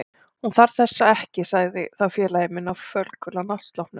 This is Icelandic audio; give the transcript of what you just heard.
Hún þarf þessa ekki sagði þá félagi minn á fölgula náttsloppnum.